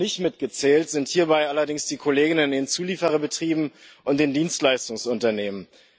Noch nicht mitgezählt sind hierbei allerdings die Kollegen in den Zulieferbetrieben und den Dienstleistungsunternehmen.